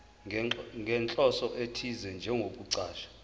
nenhloso ethize njengokuchaza